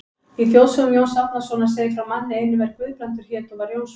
Í þjóðsögum Jóns Árnasonar segir frá manni einum er Guðbrandur hét og var Jónsson.